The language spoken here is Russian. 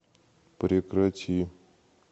прекрати